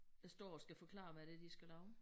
Der står og skal forklare hvad det er de skal lave